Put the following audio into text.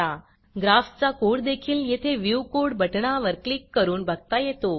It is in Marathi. ग्राफचा कोडदेखील येथे व्ह्यू codeव्यू कोड बटणावर क्लिक करून बघता येतो